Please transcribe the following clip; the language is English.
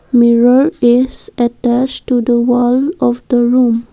mirror is attached to the wall of the room.